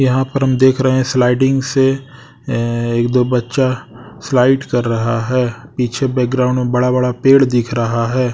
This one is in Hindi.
यहां पर हम देख रहे हैं स्लाइडिंग से एक दो बच्चा स्लाइड कर रहा है पीछे बैकग्राउंड में बड़ा बड़ा पेड़ दिख रहा हैं।